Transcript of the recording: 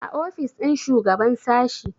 a ofis ɗin shugaban sashi